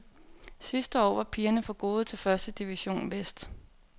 Sidste år var pigerne for gode til første division vest.